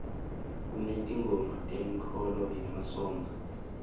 kunetingoma tenkholo yemasontfo